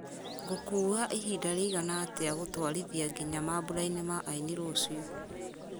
ngũkuua ihinda rĩigana atĩa gũtwarithia nginya mambura-ini ma aini rũciũ